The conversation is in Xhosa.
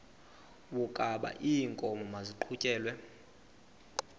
wokaba iinkomo maziqhutyelwe